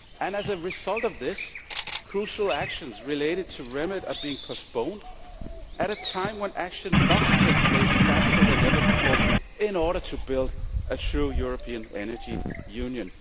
As a result of this, crucial actions related to its remit are being postponed at a time when action must take place faster than ever before in order to build a true European Energy Union.